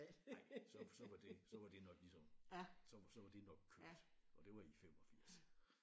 Nej så så var det så var det nok ligesom så så var det nok kørt og det var i 85